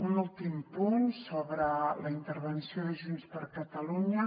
un últim punt sobre la intervenció de junts per catalunya